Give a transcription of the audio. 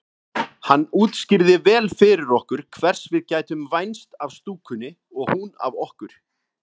Hann útskýrði vel fyrir okkur hvers við gætum vænst af stúkunni og hún af okkur.